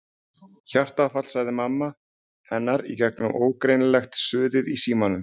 Hjartaáfall sagði mamma hennar í gegnum ógreinilegt suðið í símanum.